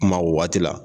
Kuma o waati la